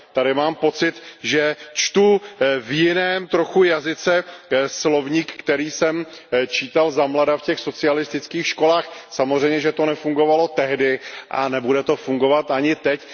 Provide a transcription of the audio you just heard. Tady mám pocit, že čtu v jiném trochu jazyce slovník, který jsem čítal zamlada v těch socialistických školách. Samozřejmě, že to nefungovalo tehdy a nebude to fungovat ani teď.